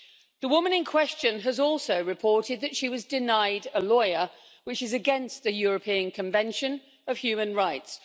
The woman in question has also reported that she was denied a lawyer, which is against the European Convention of Human Rights.